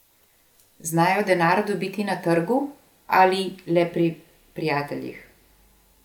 Znajo denar dobiti na trgu ali le pri prijateljih?